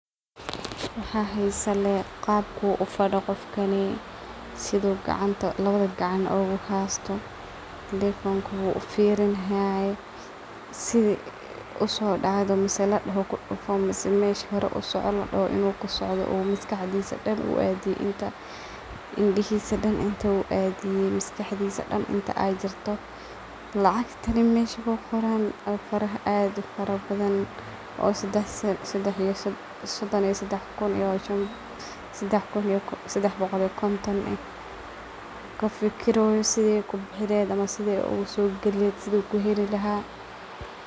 Waxa xiisa lee qaabka u fadiyo qofkaan sidhu lawadha gacan oo uhasto telephone ka oo ufirinayo sidhe usodacdo mise ladoxo kudufo mise meesha hoore usoco lodohoo inu usocdoo oo maskaxdisa daan oo aa dii inta. Indahisa daan intu aadi miskadisa daan inta ay jirto lacgtani mesha ku qoraan oo faraha ada ufarabadhan sodan iyo sadax kuun iyo sadax bogool iyo kontaan kafikireyo sidhii ay kubixi leheed ama sidhii ay uga soo gali leheed sidha kuheli lahaa.